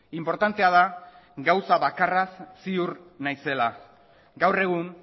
inportantea da gauza bakarraz ziur naizela gaur egun